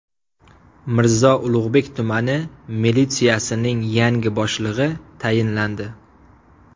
Mirzo Ulug‘bek tumani militsiyasining yangi boshlig‘i tayinlandi.